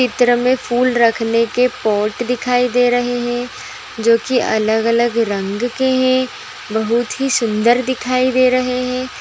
चित्र में फूल रखने के पौट दिखाई दे रहे हैं जो की अलग अलग रंग के हैं बहुत ही सुंदर दिखाई दे रहे हैं ।